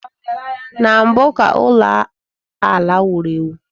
Na mbụ ka ụlọ ala wuru ewu